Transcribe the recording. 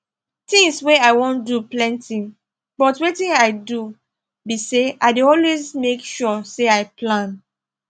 things wey i wan do plenty but wetin i do be say i dey always make sure say i plan